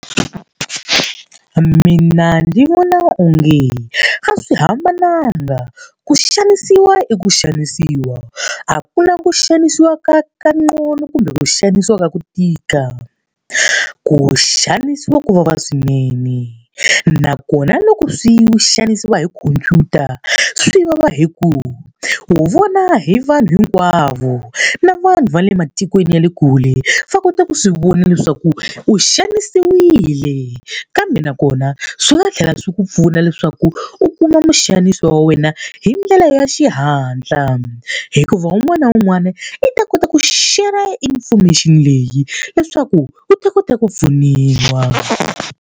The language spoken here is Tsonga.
Mina ni vona onge a swi hambananga, ku xanisiwa i ku xanisiwa. A ku na ku xanisiwa ka kanqcono kumbe ku xanisiwa ka ku tika. Ku xanisiwa ku vava swinene. Nakona loko u xanisiwa hi khomphyuta, swi vava hi ku u vona hi vanhu hinkwavo. Na vanhu va le matikweni ya le kule va kota ku swi vona leswaku u xanisiwile kambe nakona swi nga tlhela swi ku pfuna leswaku u kuma muxanisi wa wena hi ndlela ya xihatla. Hikuva un'wana na un'wana i ta kota ku share-ra information leyi leswaku u ta kota ku pfuniwa.